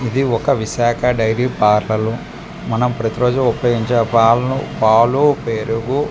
ఇది ఒక విషక డైరీ పార్లర్ మనం ప్రతి రోజు ఉపయోగించే పాలను పాలు పెరుగు .